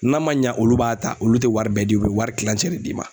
N'a ma ɲa olu b'a ta olu tɛ wari bɛɛ di u be wari tilancɛ de d'i ma.